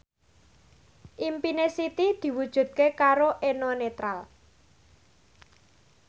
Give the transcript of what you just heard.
impine Siti diwujudke karo Eno Netral